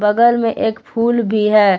घर में एक फूल भी है।